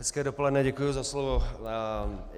Hezké dopoledne, děkuji za slovo.